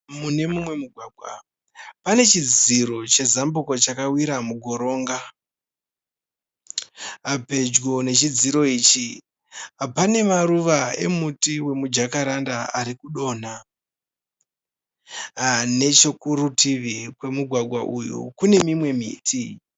Mune mumwe mugwagwa, pane chidziro chezambuko chakawira mugoronga. Pedyo nechidziro ichi pane maruva emuti wemu Jakaranda ari kudonha. Nechekurutivi kwemugwagwa uyu kune mimwe miti.